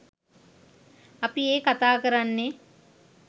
අපි ඒ කථා කරන්නේ